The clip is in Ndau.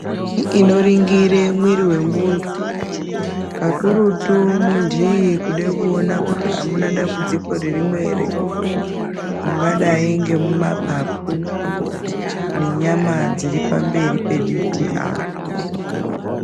Inoringire mwiri vemuntu kakurutu muntu iyeye kuda kuona kuti hamuna dambudziko ririmwo ere. Mungadai ngemumapapu nenyama dziri pamberi pediti apa.